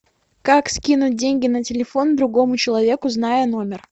как скинуть деньги на телефон другому человеку зная номер